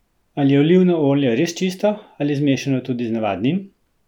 Ali je olivno olje res čisto ali zmešano tudi z navadnim?